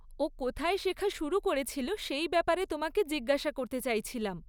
ও কোথায় শেখা শুরু করেছিল সেই ব্যাপারে তোমাকে জিজ্ঞাসা করতে চাইছিলাম।